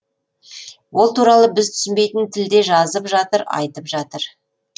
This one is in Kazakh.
ол туралы біз түсінбейтін тілде жазып жатыр айтып жатыр